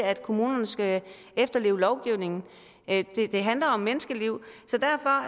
at kommunerne skal efterleve lovgivningen det handler om menneskeliv så derfor